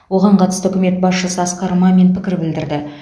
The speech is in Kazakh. оған қатысты үкімет басшысы асқар мамин пікір білдірді